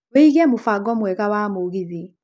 wiĩge mũbango mwega wa mũgithi